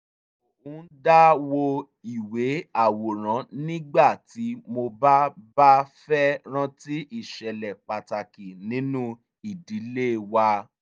mo ń dá wo ìwé àwòrán nígbà tí mo bá bá fẹ́ rántí ìṣẹ̀lẹ̀ pàtàkì nínú ìdílé wa